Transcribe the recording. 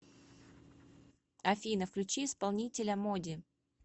афина включи исполнителя моди